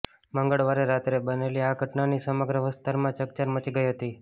મંગળવારે રાત્રે બનેલી આ ઘટનાની સમગ્ર વિસ્તારમાં ચકચાર મચી ગઈ હતી